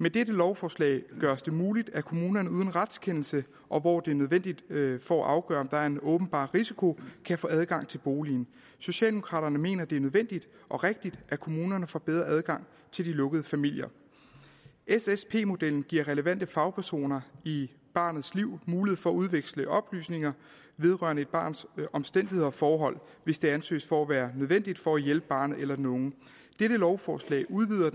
med dette lovforslag gøres det muligt at kommunerne uden retskendelse og hvor det er nødvendigt for at afgøre om der er en åbenbar risiko kan få adgang til boligen socialdemokraterne mener at det er nødvendigt og rigtigt at kommunerne får bedre adgang til de lukkede familier ssd modellen giver relevante fagpersoner i barnets liv mulighed for at udveksle oplysninger vedrørende et barns omstændigheder og forhold hvis det anses for at være nødvendigt for at hjælpe barnet eller den unge dette lovforslag udvider